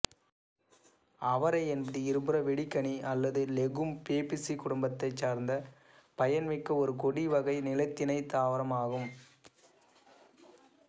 அவரை என்பது இருபுற வெடிக்கனி அல்லது லெகூம் பெபேசி குடும்ப வகையைச்சார்ந்த பயன்மிக்க ஒரு கொடிவகை நிலத்திணைதாவரம் ஆகும்